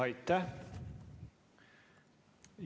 Aitäh!